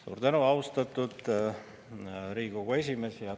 Suur tänu, austatud Riigikogu esimees!